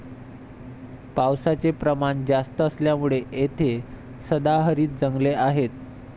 पावसाचे प्रमाण जास्त असल्यामुळे येथे सदाहरित जंगले आहेत.